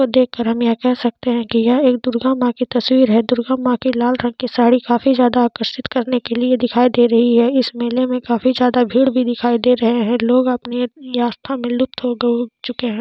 वो देख के हम ये कह सकते है की यह एक दुर्गा माँ की तस्वीर है दुर्गा माँ की लाल रंग की साड़ी काफी ज्यादा आकर्षित करने के लिए दिखाई दे रही है इस मेले में काफी ज्यादा भीड़ भी दिखाई दे रहे है लोग अपनी आस्था मे लुप्त हो के उठ चुके है।